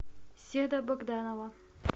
седа богданова